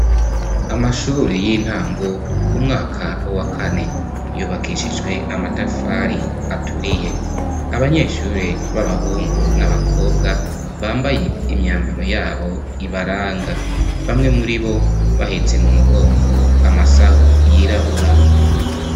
Amashuri y'intango umwaka wa kane. Yubakishijwe amatafari aturiye. Abanyeshuri b'abahungu n'abakobwa bambaye imyambaro yabo ibaranga, bamwe muri bo bahetse mu mugongo amasahu yirabura.